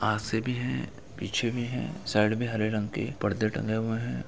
आ से भी है पीछे भी है साइड में हरे रंग के पर्दे टंगे हुए है।